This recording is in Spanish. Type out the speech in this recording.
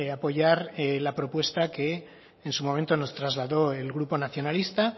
apoyar la propuesta que en su momento nos trasladó el grupo nacionalista